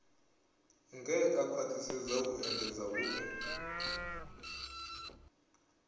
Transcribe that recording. ngea khwathisedza u engedza hue